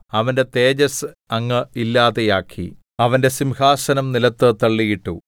അവന്റെ തേജസ്സ് അങ്ങ് ഇല്ലാതെയാക്കി അവന്റെ സിംഹാസനം നിലത്ത് തള്ളിയിട്ടു